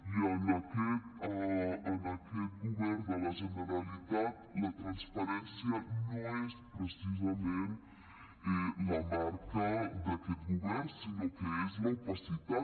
i per a aquest govern de la generalitat la transparència no és precisament la marca d’aquest govern sinó que és l’opacitat